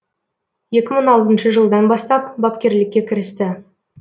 екі мың алтыншы жылдан бастап бапкерлікке кірісті